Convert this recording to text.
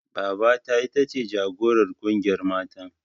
Babata ita ce jagorar ƙungiyar matan.